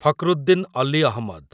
Fakruddin Ali Ahmad